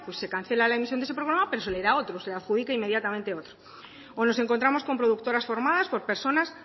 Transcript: pues se cancela la emisión de ese programa pero se le da otro se le adjudica inmediatamente otro o nos encontramos con productoras formadas por personas